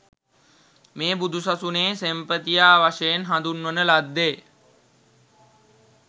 මේ බුදුසසුනේ සෙන්පතියා වශයෙන් හඳුන්වන ලද්දේ